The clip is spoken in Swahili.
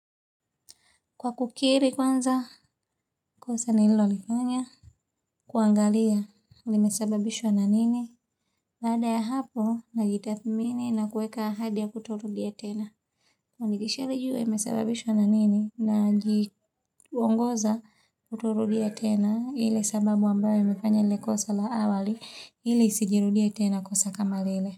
Kwa kukiri kwanza, kosa nilolifanya, kuangalia, limesababishwa na nini, baada ya hapo, najitathmini na kueka ahadi ya kutorudia tena. Na nikisha jua, imesababishwa na nini, najiongoza kutorudia tena, ile sababu ambayo imefanya lile kosa la awali, ili isijirudie tena kosa kama lile.